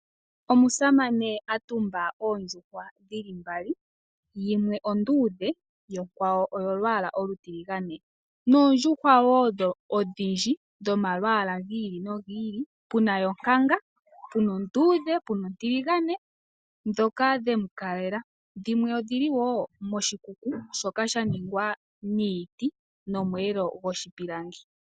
Omusamane atumba oondjuhwa dhili mbali yimwe onduudhe yo onkwawo oyolwaala olutiligane. Noondjuhwa woo odhindji dhomalwaala gili nogi ili, puna yonkanga puna onduudhe, nopuna ontiligane. Dhimwe odhili woo moshikuku shoka shaningwa niiti nomweelo goshipilangi .